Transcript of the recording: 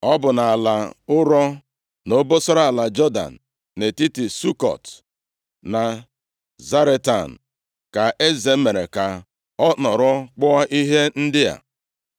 Ọ bụ nʼala ụrọ, nʼobosara ala Jọdan, nʼetiti Sukọt na Zaretan, ka eze mere ka a nọrọ kpụọ ihe ndị a.